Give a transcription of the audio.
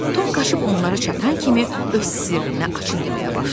Tom qaçıb onlara çatan kimi öz sirrini açıb deməyə başladı.